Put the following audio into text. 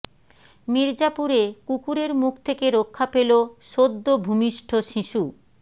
মির্জাপুরে কুকুরের মুখ থেকে রক্ষা পেল সদ্য ভূমিষ্ঠ শিশু